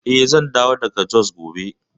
Eh, zan dawo daga Jos gobe.